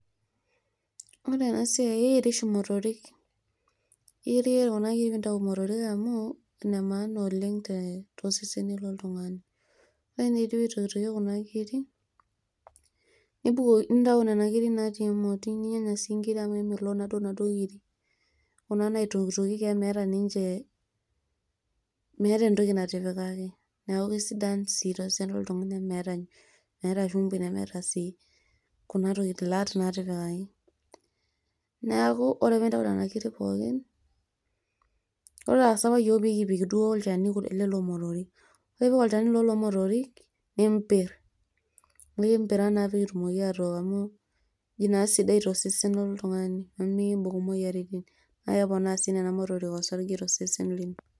ore ena siai naa keyoeri oshi motorik, naa inemaana oleng tosesen loltungani, ore ninye pee itokitokieki kuna kirik, nintaau nena kirik naatii emoti amu kemelook naaduo nena kirik natii emoti. kuna naitokitokieki. amu meeta ninche, meeta entoki natipikaki, neeku kisidan sii tosesen loltungani amu meeta entoki natipikai. neeku ore pee intau nena kirik pookin. nimpir neoki.